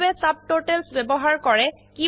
কিভাবে ছাবটোটেলছ ব্যবহাৰ কৰে